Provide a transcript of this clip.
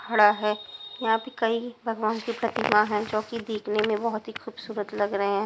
खड़ा है यहां प कई भगवान की प्रतिमा है जो कि देखने में बहुत ही खूबसूरत लग रहे हैं।